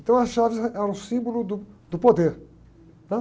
Então as chaves eh, eram símbolo do, do poder, né?